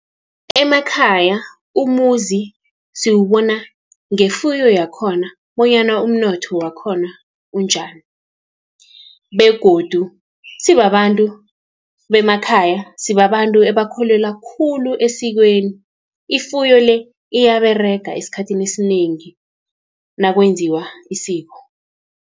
Emakhaya umuzi siwubona ngefuyo yakhona, bonyana umnotho wakhona unjani, begodu sibabantu bemakhaya, sibabantu ebakholelwa khulu esikweni. Ifuyo le, iyaberega esikhathini esinengi nakwenziwa isiko.